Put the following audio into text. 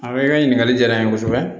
A i ka ɲininkali diyara n ye kosɛbɛ